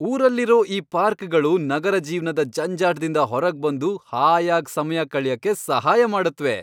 ಊರಲ್ಲಿರೋ ಈ ಪಾರ್ಕ್ಗಳು ನಗರ ಜೀವ್ನದ ಜಂಜಾಟ್ದಿಂದ ಹೊರಗ್ಬಂದು ಹಾಯಾಗ್ ಸಮಯ ಕಳ್ಯಕ್ಕೆ ಸಹಾಯ ಮಾಡತ್ವೆ.